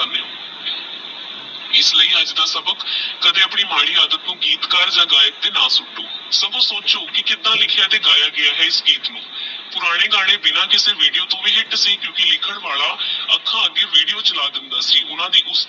ਕਦੀ ਆਪਣੀ ਮਾੜੀ ਆਦਤ ਤੋਂ ਗੀਤਕਾਰ ਜਾ ਗਾਇਕ ਦੇ ਨਾ ਸੁਟੋ ਸਗੋਂ ਸੋਚੋ ਕੀ ਕੀਦਾ ਲਿਖਯਾ ਤੇਹ ਗਯਾ ਗੇ ਆਹ ਇਸ ਗੀਤ ਨੂ ਪੁਰਾਣੇ ਗਾਨੇ ਬਿਨਾ ਕਿਸੇ VIDEO ਤੇ HIT ਸੀ ਕੁਕੀ ਲਿਖਣ ਵਾਲਾ ਆਖਾਂ ਅੱਗੇ VIDEO ਚਲਾ ਦੇਂਦਾ ਸੀ ਓਹਨਾ ਦੀ